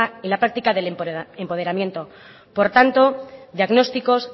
y la práctica del empoderamiento por tanto diagnósticos